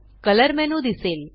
colour menu दिसेल